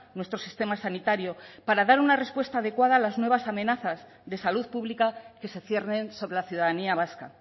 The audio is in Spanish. nuestro sistema sanitario para dar una respuesta adecuada a las nuevas amenazas de salud pública que se ciernen sobre la ciudadanía vasca